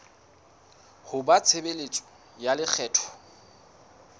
ho ba tshebeletso ya lekgetho